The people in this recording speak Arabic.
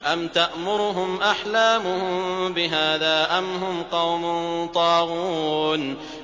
أَمْ تَأْمُرُهُمْ أَحْلَامُهُم بِهَٰذَا ۚ أَمْ هُمْ قَوْمٌ طَاغُونَ